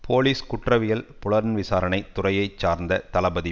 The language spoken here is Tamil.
போலீஸ் குற்றவியல் புலன் விசாரணை துறையை சார்ந்த தளபதி